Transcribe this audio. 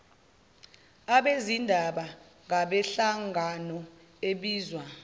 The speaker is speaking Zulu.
abezindaba ngabenhlangano ebizwa